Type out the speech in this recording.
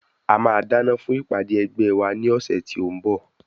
A máa dáná fún ìpàdé ẹgbẹ́ wa ní ọ̀sẹ̀ tí ó ń bọ̀.